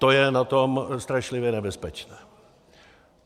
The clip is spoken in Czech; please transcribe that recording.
To je na tom strašlivě nebezpečné.